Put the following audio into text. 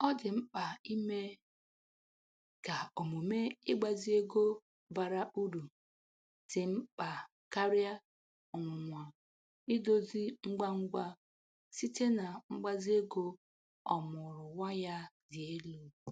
Ọ dị mkpa ime ka omume ịgbazi ego bara uru dị mkpa karịa ọnwụnwa idozi ngwa ngwa site na mgbazi ego ọmụụrụ nwa ya dị elu.